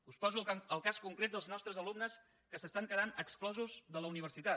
us poso el cas concret dels nostres alumnes que s’estan quedant exclosos de la universitat